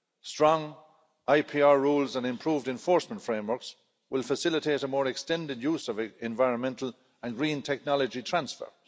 Strong IPR rules and improved enforcement frameworks will facilitate a more extended use of environmental and green technology transfer.